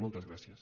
moltes gràcies